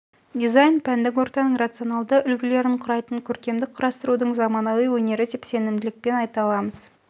дизайн пәндік ортаның рационалды үлгілерін құрайтын көркемдік құрастырудың заманауи өнері деп сенімділікпен айта аламыз